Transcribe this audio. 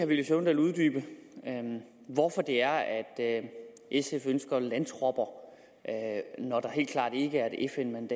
villy søvndal uddybe hvorfor sf ønsker landtropper når der helt klart i